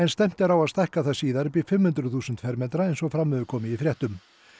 stefnt er á að stækka síðar í fimm hundruð þúsund fermetra eins og fram hefur komið í fréttum